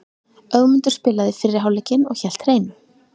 Ögmundur spilaði fyrri hálfleikinn og hélt hreinu.